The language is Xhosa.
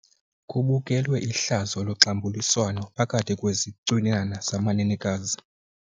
Kubukelwe ihlazo loxambuliswano phakathi kwezicwinana zamanenekazi.